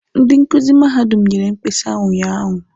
Ndi nkuzi mahadum nyere mkpesa unyaahụ.